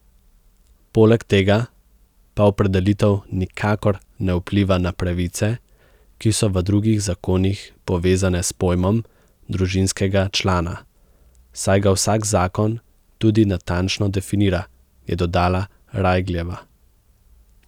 Poleg tega pa opredelitev nikakor ne vpliva na pravice, ki so v drugih zakonih povezane s pojmom družinskega člana, saj ga vsak zakon tudi natančno definira, je dodala Rajgljeva.